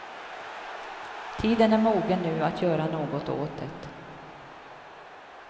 Tiden är mogen nu att göra något åt det.